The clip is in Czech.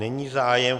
Není zájem.